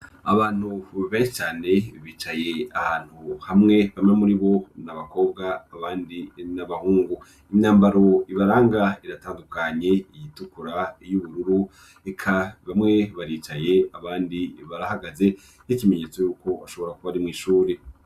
abantu benshi cane bicaye ahantu hamwe bamwe muribo n'abakobwa abandi n'abahungu imyambaro ibaranga iratandukanye iyitukura y'ubururu reka bamwe baricaye abandi barahagaze y'ikimenyetso y'uko ashobora kuba ari mw'ishuri